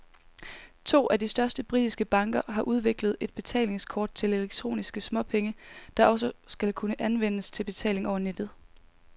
To af de største britiske banker har udviklet et betalingskort til elektroniske småpenge, der også skal kunne anvendes til betaling over nettet.